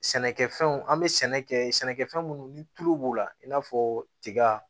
Sɛnɛkɛfɛnw an bɛ sɛnɛ kɛ sɛnɛkɛfɛn minnu ni tulu b'u la i n'a fɔ tiga